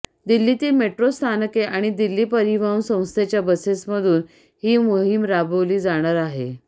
दिल्लीतील मेट्रो स्थानके आणि दिल्ली परिवहन संस्थेच्या बसेसमधून ही मोहीम राबवली जाणार आहे